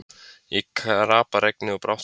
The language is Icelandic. Í kraparegni, og brátt fór að blása.